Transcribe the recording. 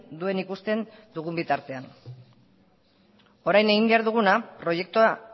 duen ikusten dugun bitartean orain egin behar duguna proiektua